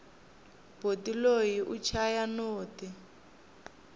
boti loyi u chaya noti